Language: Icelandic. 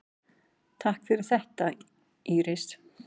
Takk fyrir þetta Íris.